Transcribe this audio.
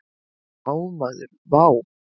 Vá maður vá!